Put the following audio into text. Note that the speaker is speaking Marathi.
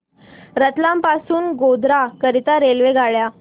रतलाम पासून गोध्रा करीता रेल्वेगाड्या